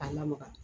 A lamaga